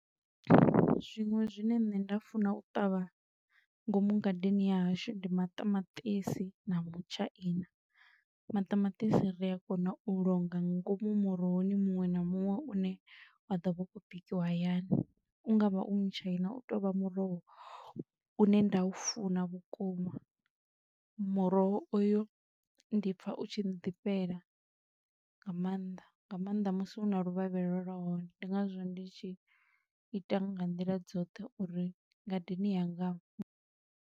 Zwiṅwe zwine nṋe nda funa u ṱavha ngomu ngadeni ya hashu ndi maṱamaṱisi na mutshaini. Maṱamatisi ri a kona u longa ngomu murohoni muṅwe na muṅwe u ne wa ḓo vha u khou bikiwa hayani, u nga vha u mutshaina u tovha muroho une nda u funa vhukuma, muroho oyu ndi pfa u tshi ḓifhela nga maanḓa, nga maanḓa musi u na luvhavhela lwa hone ndi nga zwo ndi tshi ita nga nḓila dzoṱhe uri ngadeni yanga.